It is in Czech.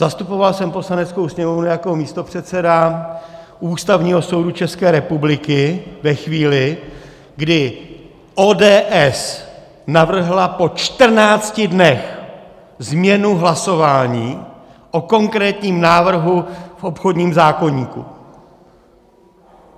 Zastupoval jsem Poslaneckou sněmovnu jako místopředseda u Ústavního soudu České republiky ve chvíli, kdy ODS navrhla po 14 dnech změnu hlasování o konkrétním návrhu v obchodním zákoníku.